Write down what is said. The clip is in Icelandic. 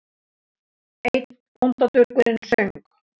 Einn bóndadurgurinn söng